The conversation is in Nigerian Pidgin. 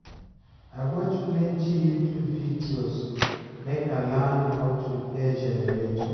I watch plenty YouTube videos make I learn how to repair generator.